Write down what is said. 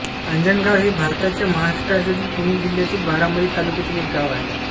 आंजणगाव हे भारताच्या महाराष्ट्र राज्यातील पुणे जिल्ह्यातील बारामती तालुक्यातील एक गाव आहे